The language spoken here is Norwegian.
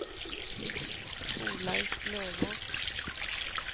Torleif Løvås